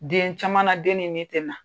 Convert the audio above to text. Den caman na den ni min tɛna.